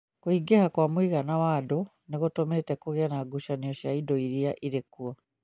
Kũingĩha kwa mũigana wa andũ nĩ gũtũmĩte kũgĩe na ngucanio cia indo iria irĩ kuo